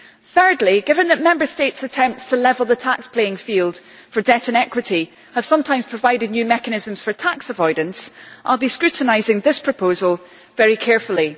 Third, given that Member States' attempts to level the tax playing field for debt and equity have sometimes provided new mechanisms for tax avoidance, I will be scrutinising this proposal very carefully.